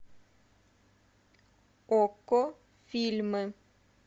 окко фильмы